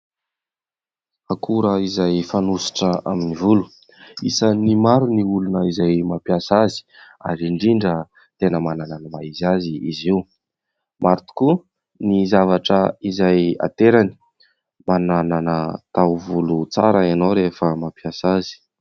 Akora izay fanosotra amin'ny volo: isan'ny maro ny olona izay mampiasa azy ary indrindra tena manana ny maha izy azy izy io, maro tokoa ny zavatra izay aterany mba manana taovolo tsara ianao rehefa mampiasa azy.